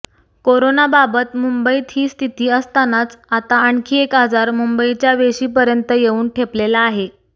कोरोनाबाबत मुंबईत ही स्थिती असतानाच आता आणखी एक आजार मुंबईच्या वेशीपर्यंत येऊन ठेपलेला आहे